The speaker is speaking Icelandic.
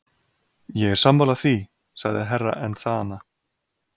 Ég er sammála því, sagði Herra Enzana.